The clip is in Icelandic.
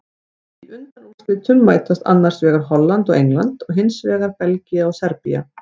Í undanúrslitum mætast annars vegar Holland og England og hinsvegar Belgía og Serbía.